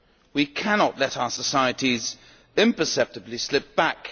We cannot let our societies imperceptibly slip back.